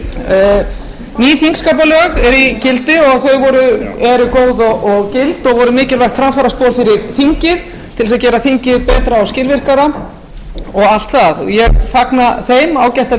eru góð og gild og voru mikilvægt framfaraspor fyrir þingið til þess að gera þingið betra og skilvirkara og allt það ég fagna þeim ágætt að